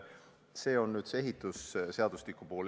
See on nüüd see ehitusseadustiku pool.